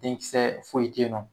denkisɛ foyi tɛ yen nɔ